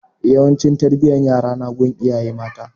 Yawanci tarbiyan yara na gun iyaye mata